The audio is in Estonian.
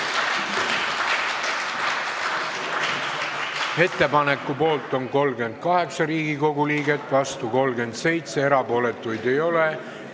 Ettepaneku poolt on 38 ja vastu 37 Riigikogu liiget, erapooletuid ei ole.